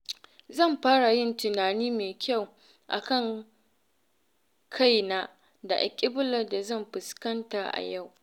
Zan fara yin tunani mai kyau a kan kaina da alƙiblar da zan fuskanta a yau.